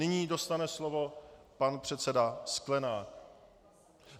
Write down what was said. Nyní dostane slovo pan předseda Sklenák...